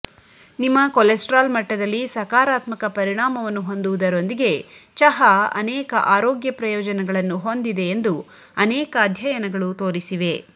ನಿಮ್ಮ ಕೊಲೆಸ್ಟರಾಲ್ ಮಟ್ಟದಲ್ಲಿ ಸಕಾರಾತ್ಮಕ ಪರಿಣಾಮವನ್ನು ಹೊಂದುವುದರೊಂದಿಗೆ ಚಹಾ ಅನೇಕ ಆರೋಗ್ಯ ಪ್ರಯೋಜನಗಳನ್ನು ಹೊಂದಿದೆ ಎಂದು ಅನೇಕ ಅಧ್ಯಯನಗಳು ತೋರಿಸಿವೆ